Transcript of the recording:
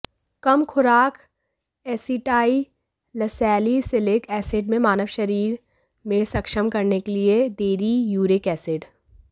कम खुराक acetylsalicylic acid में मानव शरीर में सक्षम करने के लिए देरी यूरिक एसिड